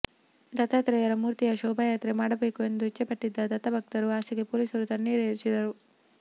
ದತ್ತಾತ್ರೇಯನ ಮೂರ್ತಿಯ ಶೋಭಾಯಾತ್ರೆ ಮಾಡಬೇಕು ಎಂದು ಇಚ್ಛೆಪಟ್ಟಿದ್ದ ದತ್ತಭಕ್ತರ ಆಸೆಗೆ ಪೊಲೀಸರು ತಣ್ಣೀರು ಎರಚಿದರು